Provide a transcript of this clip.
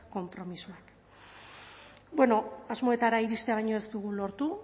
konpromisoa bueno asmoetara iristea baino ez dugu lortu